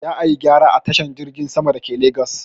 Za ayi gyara a tashar jirgin sama dake legas